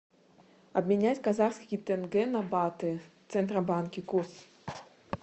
обменять казахский тенге на баты в центробанке курс